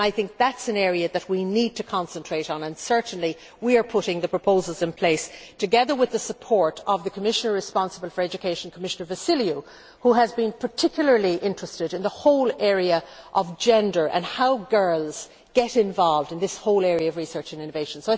I think that is an area that we need to concentrate on and certainly we are putting the proposals in place, together with the support of the Commissioner responsible for education, Commissioner Vassiliou, who has been particularly interested in the whole area of gender and how girls get involved in this whole area of research and innovation.